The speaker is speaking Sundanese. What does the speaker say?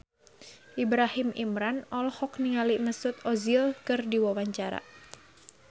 Ibrahim Imran olohok ningali Mesut Ozil keur diwawancara